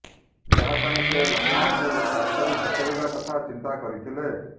ଯାହା ପାଇଁ ସେ ଲକ୍ଷ୍ମଣଙ୍କୁ ରାସ୍ତାରୁ ହଟାଇବା କଥା ଚିନ୍ତା କରିଥିଲେ